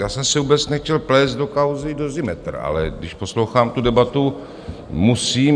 Já jsem se vůbec nechtěl plést do kauzy Dozimetr, ale když poslouchám tu debatu, musím.